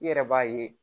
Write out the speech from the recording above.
I yɛrɛ b'a ye